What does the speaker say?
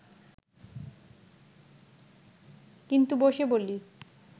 কিন্তু বসে বলি